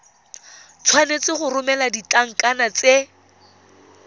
tshwanetse go romela ditlankana tse